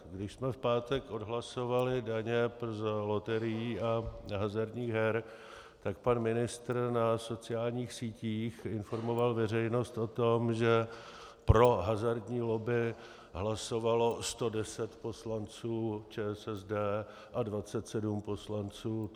Když jsme v pátek odhlasovali daně z loterií a hazardních her, tak pan ministr na sociálních sítích informoval veřejnost o tom, že pro hazardní lobby hlasovalo 110 poslanců ČSSD a 27 poslanců TOP 09 a asi 25 poslanců ODS.